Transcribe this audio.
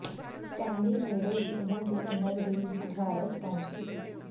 Stanley ਨੇੜੇ ਦੀ ਉਮਰ ਦੀ ਉਮਰ ਦੀ ਬੁਝਾਰਤ ਪਹੁੰਚ ਕੀਤੀ